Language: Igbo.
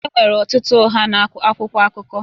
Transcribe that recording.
Enwere ọtụtụ ụgha na akwụkwọ akụkọ